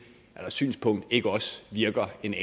her synspunkt virker en